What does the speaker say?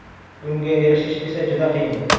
Bunga erishish esa juda qiyin.